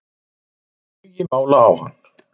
Þeir eru með tugi mála á hann